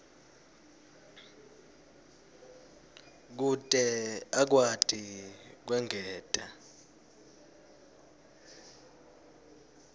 kute akwati kwengeta